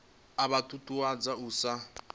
a vha ṱuṱuwedza u isa